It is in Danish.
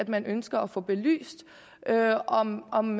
man ønsker at få belyst om om